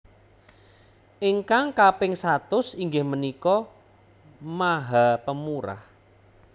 Ingkang kaping satus inggih menika maha pemurah